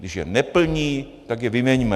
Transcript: Když je neplní, tak je vyměňme.